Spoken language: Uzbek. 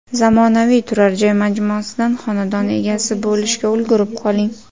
Zamonaviy turar joy majmuasidan xonadon egasi bo‘lishga ulgurib qoling.